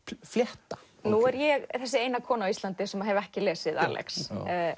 flétta nú er ég þessi eina kona á Íslandi sem hef ekki lesið Alex